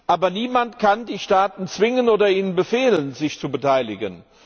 Aber niemand kann die Staaten zwingen oder ihnen befehlen, sich zu beteiligen.